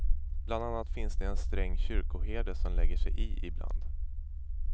Bland annat finns det en sträng kyrkoherde som lägger sig i ibland.